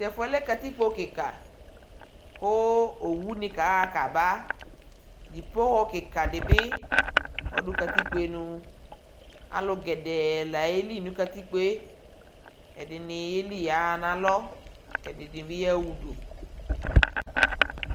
tɛƒʋɛ lɛkatikpɔ kikaa kʋ ɔwʋni kaha kaba dibɔhɔ kikaa dibi ɔdʋ katikpɔ nʋ, alʋ gɛdɛɛ la yɛli nʋ katikpɔɛ, ɛdini yɛli yaha nʋ alɔ kʋɛdini ya ʋdʋ